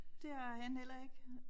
Det har han heller ikke